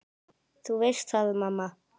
Þú veist það, mamma.